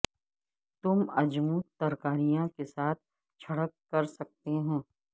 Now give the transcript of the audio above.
تم اجمود ترکاریاں کے ساتھ چھڑک کر سکتے ہیں